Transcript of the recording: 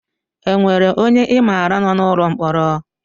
E nwere ọnye I maara nọ n'ụlọ mkpọrọ?